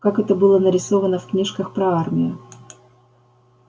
как это было нарисовано в книжках про армию